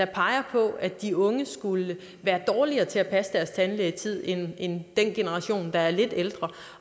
peger på at de unge skulle være dårligere til at passe deres tandlægetid end end den generation der er lidt ældre